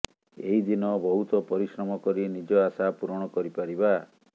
ଏହିଦିନ ବହୁତ ପରିଶ୍ରମ କରି ନିଜ ଆଶା ପୂରଣ କରିପାରିବା